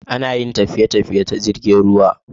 Ana Yin tafiye tafiye ta jirgin ruwa